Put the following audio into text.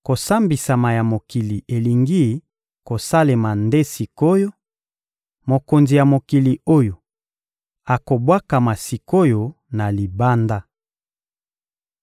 Kosambisama ya mokili elingi kosalema nde sik’oyo; mokonzi ya mokili oyo akobwakama sik’oyo na libanda.